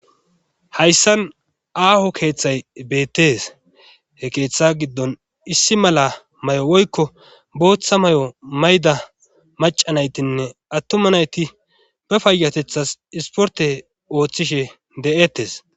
Hayssan aaho keeththay beettees he keeththa giddon issi mala may'o woykko booththa may'o mayda maca naytinne attuma nayti ba payyatethas isporte ooththishe de'ettes